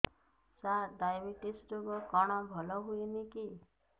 ସାର diabetes ରୋଗ କଣ ଭଲ ହୁଏନି କି